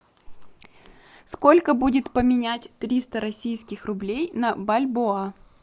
сколько будет поменять триста российских рублей на бальбоа